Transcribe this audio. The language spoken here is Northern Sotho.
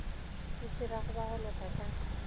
itirago ba go loka ka